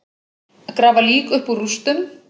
Grafa lík upp úr rústum